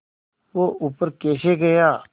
वह ऊपर कैसे गया